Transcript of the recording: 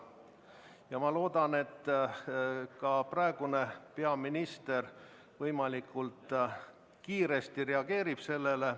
Ja ma loodan, et ka praegune peaminister võimalikult kiiresti reageerib sellele.